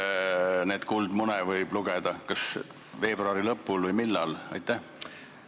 Millal siis neid kuldmune võib lugeda, kas veebruari lõpul või millal?